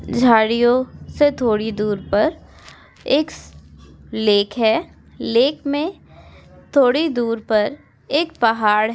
झाड़ियो से थोड़ी दूर पर एक लेक है। लेक में थोड़ी दूर पर एक पहाड़ --